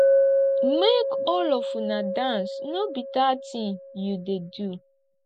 make all of una dance no be dat thing you dey do